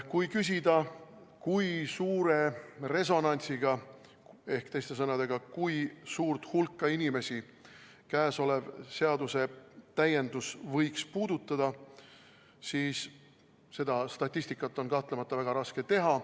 Kui küsida, kui suure resonantsiga on tegu ehk teiste sõnadega, kui suurt hulka inimesi käesolev seadusetäiendus võiks puudutada, siis seda statistikat on kahtlemata väga raske teha.